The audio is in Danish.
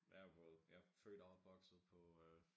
Jeg jo både jeg er født og opvokset på øh